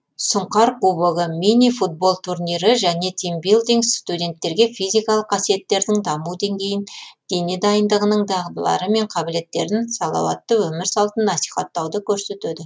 сұңқар кубогы мини футбол турнирі және тимбилдинг студенттерге физикалық қасиеттердің даму деңгейін дене дайындығының дағдылары мен қабілеттерін салауатты өмір салтын насихаттауды көрсетеді